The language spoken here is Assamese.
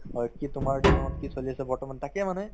হয়, কি তোমাৰ জীৱনত কি চলি আছে বৰ্তমান তাকে মানে